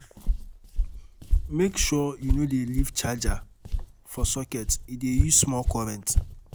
um Make sure you no dey leave charger um for socket e dey use small current.